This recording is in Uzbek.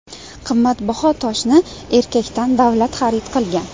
Qimmatbaho toshni erkakdan davlat xarid qilgan.